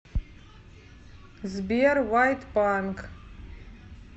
сбер вайт панк